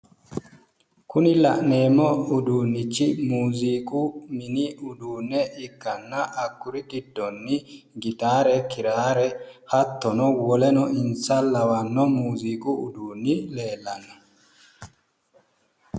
Kuni la'neemmo uduunnichi muuziiqu mini uduunne ikkanna hakkuri giddoonni gitaare, kiraare hattono woleno insa lawanno muuziiqu uduunni leellanno.